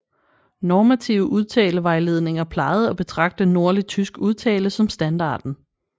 Normative udtalevejledninger plejede at betragte nordlig tysk udtale som standarden